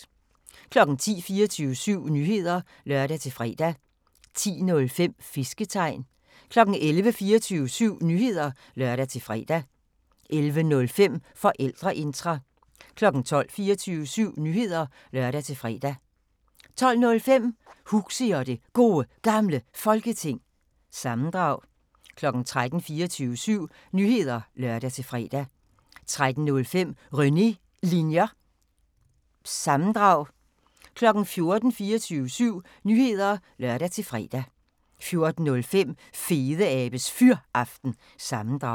10:00: 24syv Nyheder (lør-fre) 10:05: Fisketegn 11:00: 24syv Nyheder (lør-fre) 11:05: Forældreintra 12:00: 24syv Nyheder (lør-fre) 12:05: Huxi og det Gode Gamle Folketing – sammendrag 13:00: 24syv Nyheder (lør-fre) 13:05: René Linjer- sammendrag 14:00: 24syv Nyheder (lør-fre) 14:05: Fedeabes Fyraften – sammendrag